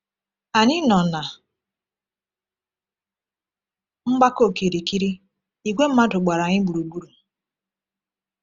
Anyị nọ na mgbakọ okirikiri, ìgwè mmadụ gbara anyị gburugburu.